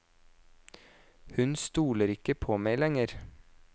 Hun stoler ikke på meg lenger.